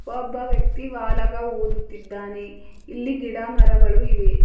ಒಬ್ಬ ವ್ಯಕ್ತಿ ವಾಲಗ ಊದುತ್ತಿದ್ದಾನೆ ಇಲ್ಲಿ ಗಿಡಮರಗಳು ಇವೆ.